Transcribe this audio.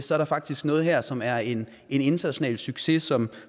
der er faktisk noget her som er en international succes som